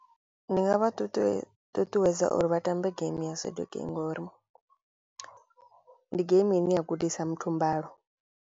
Ndi nga vha tutuwe ṱuṱuwedza uri vha tambe game ya saduki ngori ndi geimi ine ya gudisa muthu mbalo.